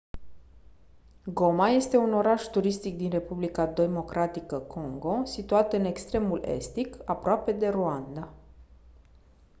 goma este un oraș turistic din republica democratică congo situat în extremul estic aproape de rwanda